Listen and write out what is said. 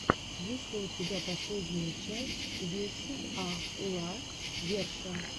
есть ли у тебя последняя часть вете а ла верша